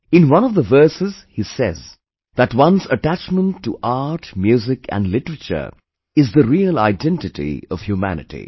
In one of the verses he says that one's attachment to art, music and literature is the real identity of humanity